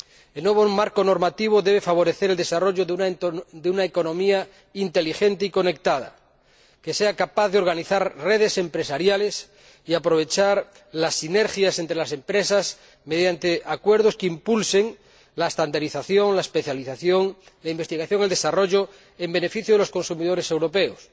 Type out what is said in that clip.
El nuevo marco normativo debe favorecer el desarrollo de una economía inteligente y conectada que sea capaz de conectar redes empresariales y aprovechar las sinergias entre las empresas mediante acuerdos que impulsen la normalización, la especialización, la investigación y el desarrollo en beneficio de los consumidores europeos,